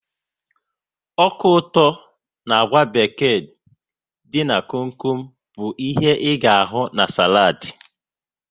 Ọka ụtọ na àgwà beked dị n'kom kom bụ ihe ga ahụ na saladi